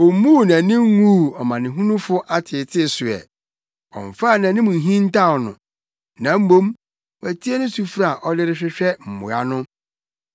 Ommuu nʼani nguu ɔmanehunufo ateetee so ɛ, ɔmfaa nʼanim nhintaw no; na mmom watie ne sufrɛ a ɔde rehwehwɛ mmoa no.